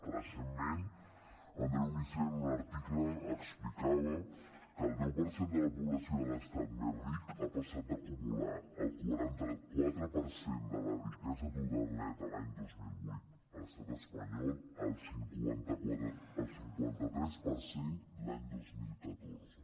recentment andreu missé en un article explicava que el deu per cent de la població de l’estat més ric ha passat d’acumular el quaranta quatre per cent de la riquesa total neta l’any dos mil vuit a l’estat espanyol al cinquanta tres per cent l’any dos mil catorze